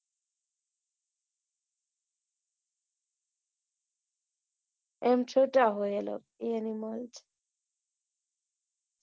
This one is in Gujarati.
એમ છુટ્ટા હોય animals